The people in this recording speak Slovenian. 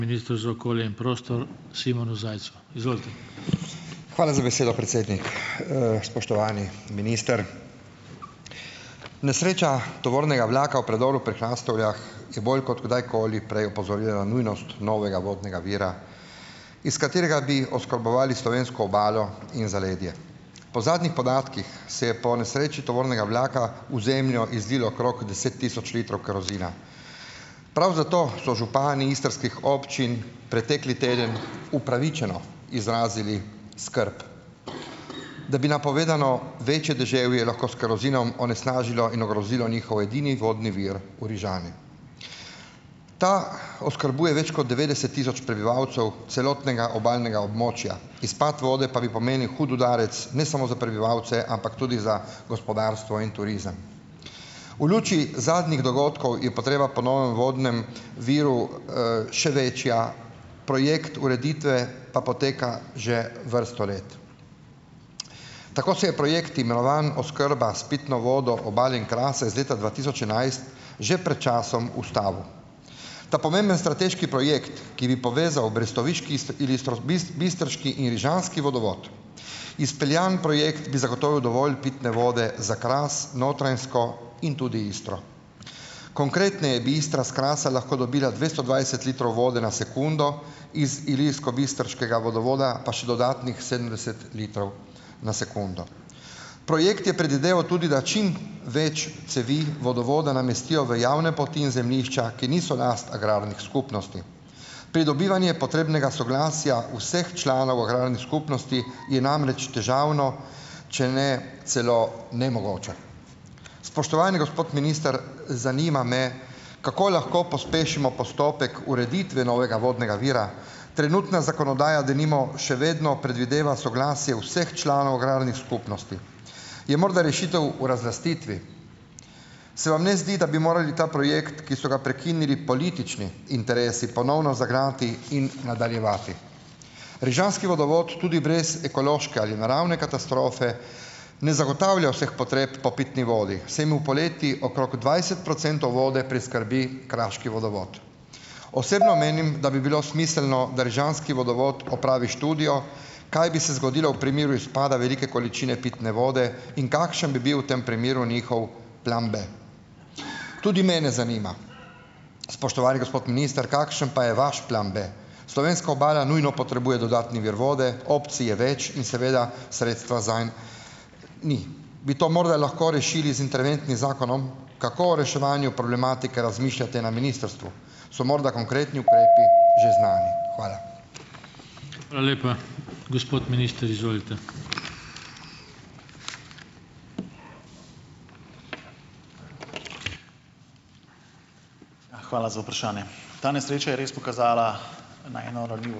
Hvala za besedo, predsednik. Spoštovani minister! Nesreča tovornega vlaka v predoru pri Hrastovljah je bolj kot kdajkoli prej opozorilo na nujnost novega vodnega vira, iz katerega bi oskrbovali slovensko obalo in zaledje. Po zadnjih podatkih se je po nesreči tovornega vlaka v zemljo izlilo okrog deset tisoč litrov kerozina. Prav zato so župani istrskih občin pretekli teden upravičeno izrazili skrb, da bi napovedano večje deževje lahko s kerozinom onesnažilo in ogrozilo njihov edini vodni vir v Rižani. Ta oskrbuje več kot devetdeset tisoč prebivalcev celotnega obalnega območja, izpad vode pa bi pomenil hud udarec ne samo za prebivalce, ampak tudi za gospodarstvo in turizem. V luči zadnjih dogodkov je potreba po novem vodnem viru, še večja, projekt ureditve pa poteka že vrsto let. Tako se je projekt imenovan oskrba s pitno vodo Obale in Krasa iz leta dva tisoč enajst že pred časom ustavil. Ta pomembni strateški projekt, ki bi povezal brestoviški ilistro bistrški in rižanski vodovod, izpeljan projekt bi zagotovil dovolj pitne vode za Kras, Notranjsko in tudi Istro. Konkretneje bi Istra s Krasa lahko dobila dvesto dvajset litrov vode na sekundo, iz ilirskobistriškega vodovoda pa še dodatnih sedemdeset litrov na sekundo. Projekt je predvideval tudi, da čim več cevi vodovoda namestijo v javne poti in zemljišča, ki niso last agrarnih skupnosti. Pridobivanje potrebnega soglasja vseh članov agrarne skupnosti je namreč težavno, če ne celo nemogoče. Spoštovani gospod minister! Zanima me, kako lahko pospešimo postopek ureditve novega vodnega vira. Trenutna zakonodaja denimo še vedno predvideva soglasje vseh članov agrarnih skupnosti. Je morda rešitev v razlastitvi. Se vam ne zdi, da bi morali ta projekt, ki so ga prekinili politični interesi, ponovno zagnati in nadaljevati. Rižanski vodovod tudi brez ekološke ali naravne katastrofe ne zagotavlja vseh potreb po pitni vodi, saj mu poleti okrog dvajset procentov vode priskrbi kraški vodovod. Osebno menim, da bi bilo smiselno, da rižanski vodovod opravi študijo, kaj bi se zgodilo v primeru izpada velike količine pitne vode in kakšen bi bil v tem primeru njihov plan B. Tudi mene zanima, spoštovani gospod minister, kakšen pa je vaš plan B? Slovenska obala nujno potrebuje dodatni vir vode, opcij je več in seveda sredstva zanj ni. Bi to morda lahko rešili z interventnim zakonom? Kako reševanju problematike razmišljate na ministrstvu? So morda konkretni ukrepi že znani? Hvala.